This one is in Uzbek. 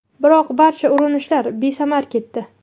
Biroq barcha urinishlar besamar ketdi.